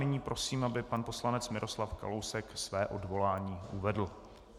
Nyní prosím, aby pan poslanec Miroslav Kalousek své odvolání uvedl.